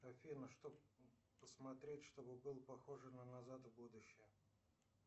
афина что посмотреть чтобы было похоже на назад в будущее